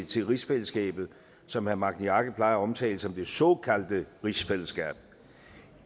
til rigsfællesskabet som herre magni arge plejer at omtale som det såkaldte rigsfællesskab